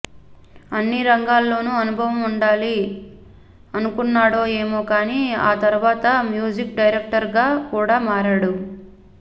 అన్నీ రంగాల్లోనూ అనుభవం ఉండాలి అనుకున్నాడో ఏమో కానీ ఆ తర్వాత మ్యూజిక్ డైరెక్టర్గా కూడా మారాడు